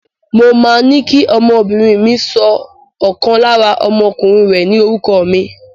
Mo máa ní kí ọmọbìnrin mi sọ ọ̀kan lára ọmọkùnrin rẹ̀ ní orúkọ mi.